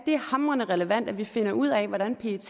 hamrende relevant at vi finder ud af hvordan pet